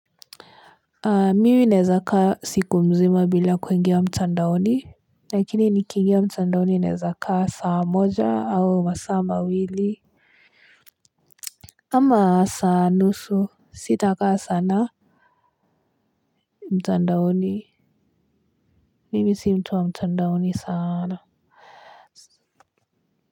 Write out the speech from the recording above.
Mimi nawezaka siku mzima bila kuingia mtandaoni. Lakini nikingia mtandaoni nawezakaa saa moja au masaa mawili. Ama saa nusu sitakaa sana. Mtandaoni mimi si mtu wa mtandaoni sana.